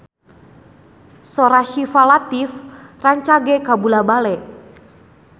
Sora Syifa Latief rancage kabula-bale